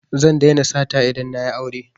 Zan daina sata idan na yi aure